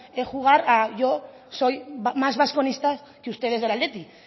jugar a yo soy más basconista que ustedes del athletic